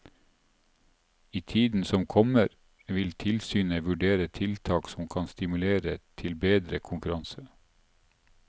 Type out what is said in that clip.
I tiden som kommer, vil tilsynet vurdere tiltak som kan stimulere til bedre konkurranse.